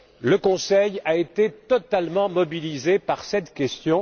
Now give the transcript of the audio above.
le Conseil a été totalement mobilisé par cette question.